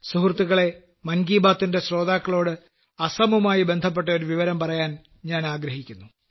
സുഹൃത്തുക്കളേ മൻ കീ ബാത്തിലെ ശ്രോതാക്കളോട് ആസാമുമായി ബന്ധപ്പെട്ട ഒരു വിവരം പറയാൻ ഞാൻ ആഗ്രഹിക്കുന്നു